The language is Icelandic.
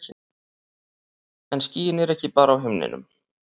En skýin eru ekki bara á himninum.